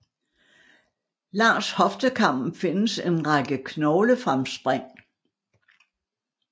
Langs hoftekammen findes en række knoglefremspring